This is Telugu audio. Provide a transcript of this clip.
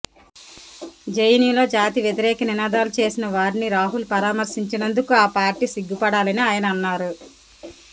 జెఎన్యులో జాతి వ్యతిరేక నినాదాలు చేసిన వారిని రాహుల్ పరామర్శించినందుకు ఆ పార్టీ సిగ్గుపడాలని ఆయన అన్నారు